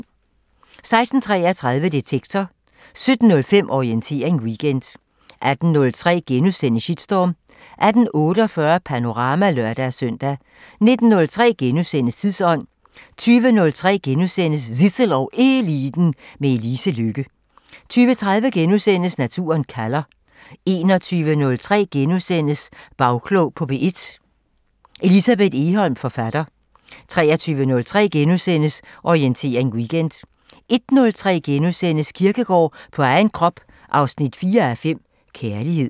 16:33: Detektor 17:05: Orientering Weekend 18:03: Shitstorm * 18:48: Panorama (lør-søn) 19:03: Tidsånd * 20:03: Zissel og Eliten: Med Elise Lykke * 20:30: Naturen kalder * 21:03: Bagklog på P1: Elsebeth Egholm, forfatter * 23:03: Orientering Weekend * 01:03: Kierkegaard på egen krop 4:5 – Kærlighed *